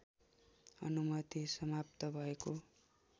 अनुमति समाप्त भएको